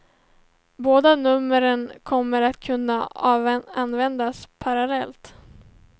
Båda numren kommer att kunna användas parallellt.